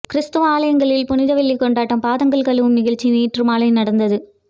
கிறிஸ்தவ ஆலயங்களில் புனித வெள்ளி கொண்டாட்டம் பாதங்கள் கழுவும் நிகழ்ச்சி நேற்று மாலை நடந்தது